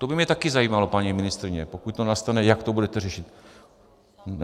To by mě taky zajímalo, paní ministryně, pokud to nastane, jak to budete řešit.